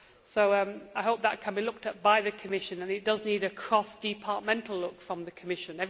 So I hope that can be looked at by the Commission, and it does need a cross departmental look from the Commission.